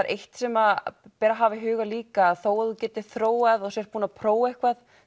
eitt sem ber að hafa í huga líka þó þú getir þróað og sért búinn að prófa eitthvað